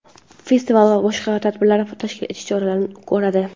festival va boshqa tadbirlar tashkil etish choralarini ko‘radi;.